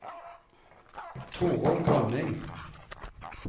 Torunn Grønning